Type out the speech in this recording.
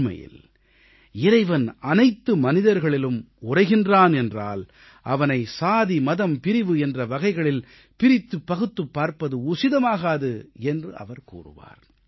உண்மையில் இறைவன் அனைத்து மனிதர்களிலும் உறைகிறான் என்றால் அவனை சாதி மதம் பிரிவு என்ற வகைகளில் பிரித்துப் பகுத்துப் பார்ப்பது உசிதமாகாது என்று அவர் கூறுவார்